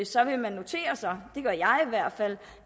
så vil man notere sig det gør jeg i hvert fald